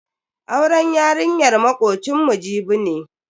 Auren yarinyar makocinmu Jibi ne.